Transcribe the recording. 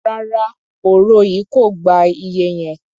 Rárá, òro yìí kò gba iye yẹn.